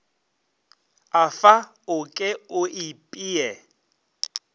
afa o ke o ipee